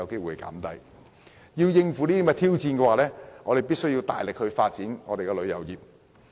為了應付這些挑戰，香港必須大力發展旅遊業。